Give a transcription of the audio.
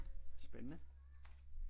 Spændende